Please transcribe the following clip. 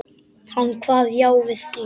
Hann kvað já við því.